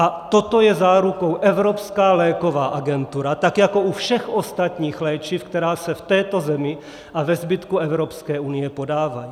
A toho je zárukou, Evropská léková agentura tak jako u všech ostatních léčiv, která se v této zemi a ve zbytku Evropské unie podávají.